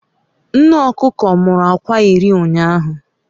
Nne okuko muru akwa iri ụnyahụ